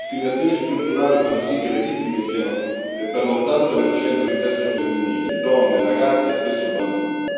Le discriminazioni strutturali fanno sì che le vittime siano per l'80 di sesso femminile donne, ragazze e spesso bambine.